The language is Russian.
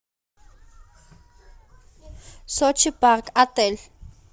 сочи парк отель